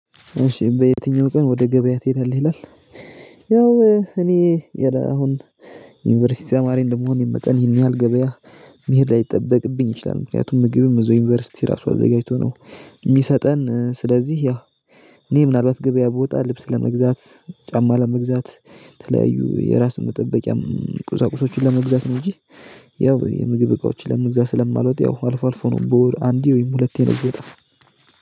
እሺ በየትኛው ቀን ወደ ገበያ ትሄዳለ? ይላል ያው እኔ የራ አሁን ዩኒቨርሲቲ ተማሪ እንደመሆን የመጠን ይሄን ያለህል ገበያ መሄድ ላይጠበቅብኝ ይችላል። ምክንያቱም ምግብም እዛው ዩኒቨርሲቲ ራሱ አዘጋጅቶ ነው የሚሰጠን ስለዚህ ያው እኔ ምናልባት ገበያ ብወጣ ልብስ ለመግዛት፣ ጫማ ለመግዛት፣ ተለያዩ የራስን መጠበቂያም ቁዛቁዞችን ለመግዛት፣ ነው እንጂ ያው የምግብ እቃዎችን ለመግዛት ስለማልወጥ ያው አልፎ አልፎ ነው በወር አንዴ ወይም ሁለቴ ነው። የምወጣው